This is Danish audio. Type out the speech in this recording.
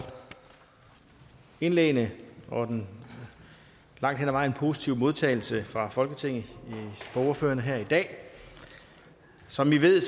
indlæggene og den langt hen ad vejen positive modtagelse fra folketinget fra ordførerne her i dag som i ved